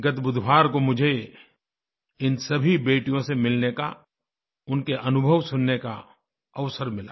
गत बुधवार को मुझे इन सभी बेटियों से मिलने का उनके अनुभव सुनने का अवसर मिला